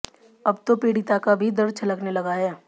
अब तो पीड़िता का भी दर्द छलकने लगा है